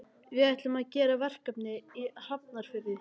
Við ætlum að gera verkefni í Hafnarfirði.